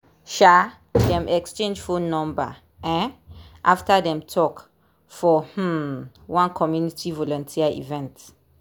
um dem exchange phone number um after dem talk for um one community volunteer event.